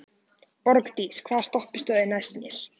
Borgdís, hvaða stoppistöð er næst mér?